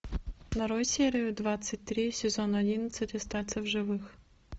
нарой серию двадцать три сезон одиннадцать остаться в живых